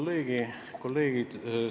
Lugupeetud kolleegid!